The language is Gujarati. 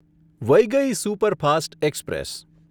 Vaigai superfast express